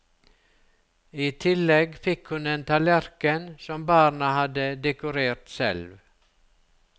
I tillegg fikk hun en tallerken som barna hadde dekorert selv.